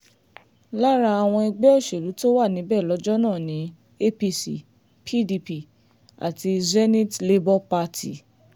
lára àwọn ẹgbẹ́ òṣèlú tó wà níbẹ̀ lọ́jọ́ náà ni apc pdp àti zenith labour party